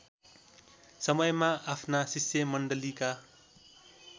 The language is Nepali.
समयमा आफ्ना शिष्यमण्डलीका